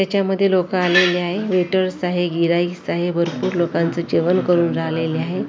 याच्यामध्ये लोकं आलेले आहे वेटर्स आहे आहे भरपूर लोकांचे जेवण करून झालेले आहे .